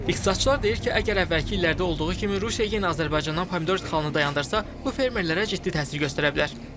İqtisadçılar deyir ki, əgər əvvəlki illərdə olduğu kimi Rusiya yenə Azərbaycandan pomidor ixracını dayandırsa, bu fermerlərə ciddi təsir göstərə bilər.